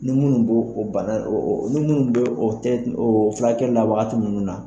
Ni minnu bɛ o bana ni minnu bɛ o tɛ o furakɛli la wagati minnu na